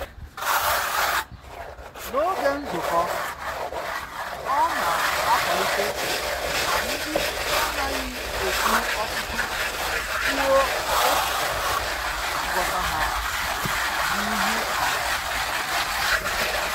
N'oge nzukọ,ọ na-akwalite ka ndị na-anaghị ekwu ọtụtụ kwuo echiche na nghọta ha n'ihu oha